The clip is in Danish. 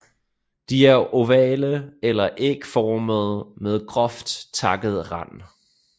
De er ovale eller ægformede med groft takket rand